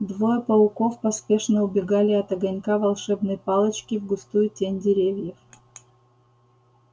двое пауков поспешно убегали от огонька волшебной палочки в густую тень деревьев